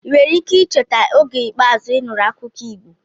ị nwere ike icheta oge ikpeazụ ị nụrụ akụkọ Igbo?